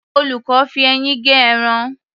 Olùkọ́ fi eyín gé ẹran.